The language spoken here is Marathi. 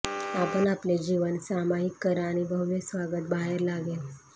आपण आपले जीवन सामायिक करा आणि भव्य स्वागत बाहेर लागेल